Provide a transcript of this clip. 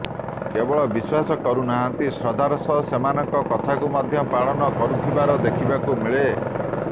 କେବଳ ବିଶ୍ୱାସ କରୁନାହାନ୍ତି ଶ୍ରଦ୍ଧାର ସହ ସେମାନଙ୍କ କଥାକୁ ପାଳନ ମଧ୍ୟ କରୁଥିବାର ଦେଖିବାକୁ ମିଳେ